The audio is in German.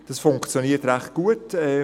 Das funktioniert recht gut.